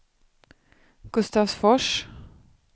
Gustavsfors